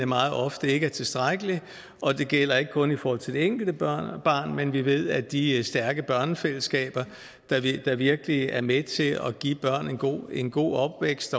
meget ofte ikke er tilstrækkelig og det gælder ikke kun i forhold til det enkelte barn barn men vi ved også at de stærke børnefællesskaber der virkelig er med til at give børn en god en god opvækst